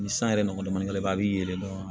Ni san yɛrɛ nɔgɔn damadɔ i b'a ye dɔrɔn